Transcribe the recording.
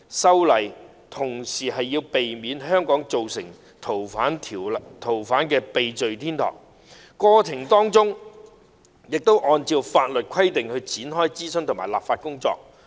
修例同時是為了避免香港成為逃犯的避罪天堂，過程中按照法律規定展開諮詢和立法工作。